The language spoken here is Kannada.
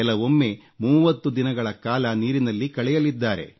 ಕೆಲವೊಮ್ಮೆ 30 ದಿನಗಳ ಕಾಲ ನೀರಿನಲ್ಲಿ ಕಳೆಯಲಿದ್ದಾರೆ